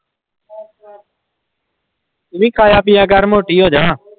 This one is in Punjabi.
ਤੂੰ ਵੀ ਖਾਇਆ ਪੀਆ ਕਰ ਮੋਟੀ ਹੋ ਜਾ।